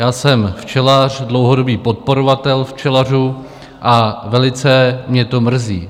Já jsem včelař, dlouhodobý podporovatel včelařů, a velice mě to mrzí.